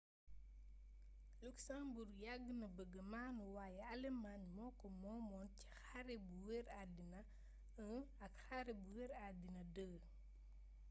luxembourg yàgg na bëgga maanu wayé alëmaañ moko moomoon ci xare bu wër addina i ak xare bu wër addina ii